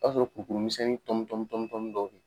A b'a sɔrɔ kuru kuru misɛnnin tɔmi tɔmi tɔmi dɔ yen.